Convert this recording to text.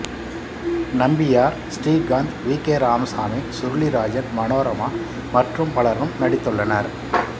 Nambiar Srikanth V K Ramasamy Surulirajan Manorama மற்றும் பலரும் நடித்துள்ளனர்